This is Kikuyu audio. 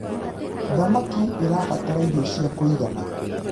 thamakĩ irabatara iirio cia kũigana